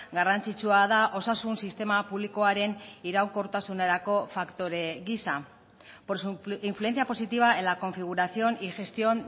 garrantzitsua da osasun sistema publikoaren iraunkortasunerako faktore giza por su influencia positiva en la configuración y gestión